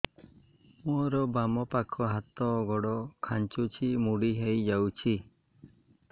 ମୋର ବାମ ପାଖ ହାତ ଗୋଡ ଖାଁଚୁଛି ମୁଡି ହେଇ ଯାଉଛି